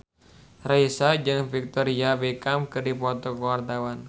Raisa jeung Victoria Beckham keur dipoto ku wartawan